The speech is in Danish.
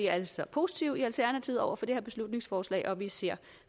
altså positive over for det her beslutningsforslag og vi ser